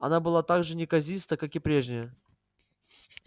она была так же неказиста как и прежняя